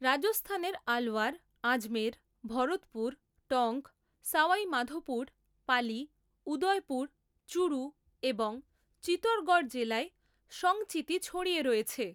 রাজস্থানের আলওয়ার, আজমের, ভরতপুর, টঙ্ক, সওয়াই মাধোপুর, পালি, উদয়পুর, চুরু এবং চিতোরগড় জেলায় সংচিতি ছড়িয়ে রয়েছে।